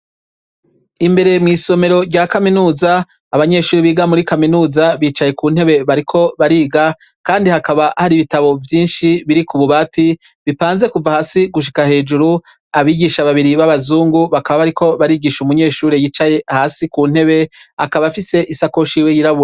Imbere mw'isomero rya kaminuza abanyeshuri biga muri kaminuza bicaye ku ntebe bariko bariga, kandi hakaba hari ibitabo vyinshi biri ku bubati bipanze kuva hasi gushika hejuru abigisha babiri b'abazungu bakaba bariko barigisha umunyeshuri yicaye hasi ku ntebe akaba afise isako shiwe yirabuwe.